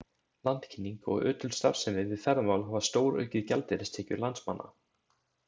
Landkynning og ötul starfsemi við ferðamál hafa stóraukið gjaldeyristekjur landsmanna.